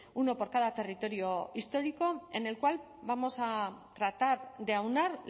uno por cada territorio histórico en el cual vamos a tratar de aunar